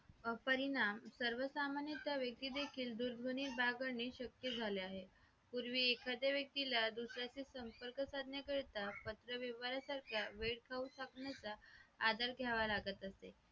परिणाम सर्वसामान्य व्यक्ती देखील दूरध्वनी वापरणे आणि शक्य झाल्या आहेत पूर्वी एखाद्या व्यक्तीला दुसऱ्याशी संपर्क साधण्याकरिता पत्रव्यवहारासारख्या वेळ खाऊ साधनेचा आधार घ्यावा लागत असेल